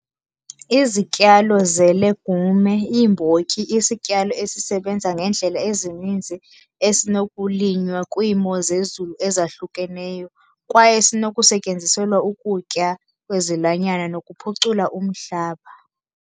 Ezityalo ze-legume, iimbotyi, isityalo esisebenza ngeendlela ezininzi esinokulinywa kwiimo zezulu ezahlukeneyo. Kwaye sinokusetyenziselwa ukutya kwezilwanyana nokuphucula umhlaba.